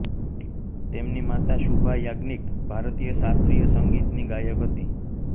તેમની માતા શુભા યાજ્ઞિક ભારતીય શાસ્ત્રીય સંગીત ની ગાયક હતી